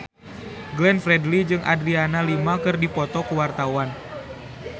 Glenn Fredly jeung Adriana Lima keur dipoto ku wartawan